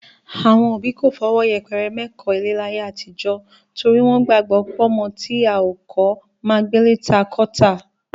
Àwọn òbí kò fọwọ́ yẹpẹrẹ mẹ́kọ̀ọ́-ilé láyé àtijọ́ torí wọ́n gbàgbọ́ pọ́mọ tá ò kọ́ máa gbélé ta kọ́ tà